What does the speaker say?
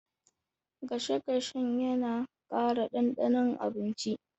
Gasasshen yana ƙara ɗanɗanon abinci.